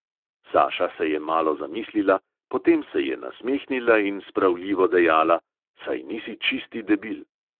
Saša se je malo zamislila, potem se je nasmehnila in spravljivo dejala: "saj nisi čisti debil."